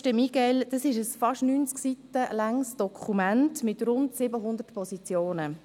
Die MiGeL ist ein fast 90 Seiten langes Dokument mit rund 700 Positionen.